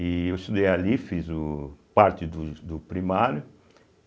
E eu estudei ali, fiz o parte do do primário.